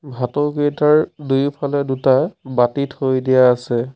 ভাঁটৌকেইটাৰ দুয়োফালে দুটা বাতি থৈ দিয়া আছে।